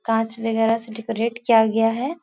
कांच वगैरह से डेकोरेट किया गया है।